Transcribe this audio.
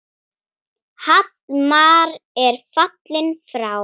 Hallmar er fallinn frá.